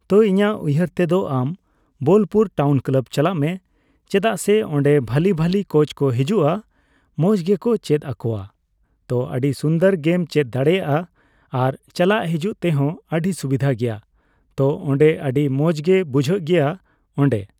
ᱛᱚ ᱤᱧᱟᱹᱜ ᱩᱭᱦᱟᱹᱨ ᱛᱮᱫᱚ ᱟᱢ ᱵᱳᱞᱯᱩᱨ ᱴᱟᱣᱩᱱ ᱠᱞᱟᱵ ᱪᱟᱞᱟᱜ ᱢᱮ᱾ ᱪᱮᱫᱟᱜ ᱥᱮ, ᱚᱸᱰᱮ ᱵᱷᱟᱞᱤᱼᱵᱷᱟᱞᱤ ᱠᱳᱪ ᱠᱚ ᱦᱤᱡᱩᱜᱼᱟ ᱾ ᱢᱚᱸᱡ ᱜᱮᱠᱚ ᱪᱮᱫ ᱟᱠᱚᱣᱟ᱾ ᱛᱚ, ᱟᱹᱰᱤ ᱥᱩᱱᱫᱚᱨ ᱜᱮᱢ ᱪᱮᱫ ᱫᱟᱲᱮᱭᱟᱜᱼᱟ᱾ ᱟᱨ ᱪᱟᱞᱟᱜ ᱦᱤᱡᱩᱜ ᱛᱮᱦᱚᱸ ᱟᱹᱰᱤ ᱥᱩᱵᱤᱫᱷᱟ ᱜᱮᱭᱟ᱾ ᱛᱚ, ᱚᱸᱰᱮ ᱟᱹᱰᱤ ᱢᱚᱸᱡᱽ ᱜᱮ ᱵᱩᱡᱷᱟᱹᱜ ᱜᱮᱭᱟ ᱚᱸᱰᱮ ᱾